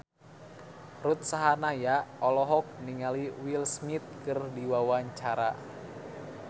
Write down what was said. Ruth Sahanaya olohok ningali Will Smith keur diwawancara